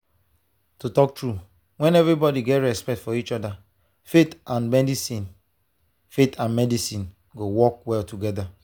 to talk true when everybody respect each other faith and medicine faith and medicine go work well together.